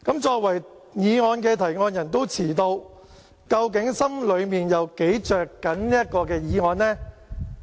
作為議案的動議者也遲到，究竟心裏有多着緊這項議案呢？